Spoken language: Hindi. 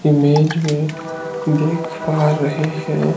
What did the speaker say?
इमेज में देख पा रहे हैं।